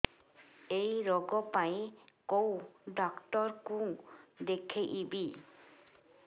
ଏଇ ରୋଗ ପାଇଁ କଉ ଡ଼ାକ୍ତର ଙ୍କୁ ଦେଖେଇବି